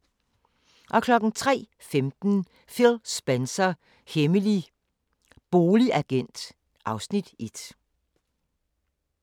03:15: Phil Spencer – hemmelig boligagent (Afs. 1)